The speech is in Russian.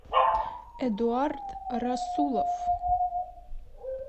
эдуард расулов